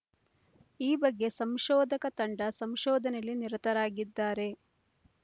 ಈ ಬಗ್ಗೆ ಸಂಶೋಧಕ ತಂಡ ಸಂಶೋಧನೆಯಲ್ಲಿ ನಿರತರಾಗಿದ್ದಾರೆ